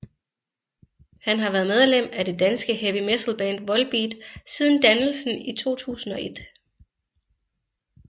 Han har været medlem af det danske heavy metalband Volbeat siden dannelsen i 2001